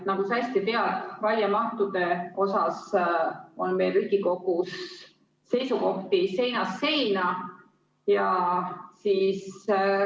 Nagu sa hästi tead, raiemahtude osas on meil Riigikogus seisukohti seinast seina.